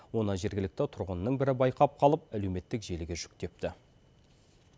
оны жергілікті тұрғынның бірі байқап қалып әлеуметтік желіге жүктепті